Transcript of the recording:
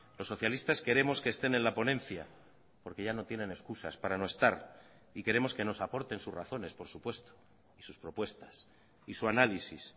los socialistas queremos que estén en la ponencia porque ya no tienen excusas para no estar y queremos que nos aporten sus razones por supuesto y sus propuestas y su análisis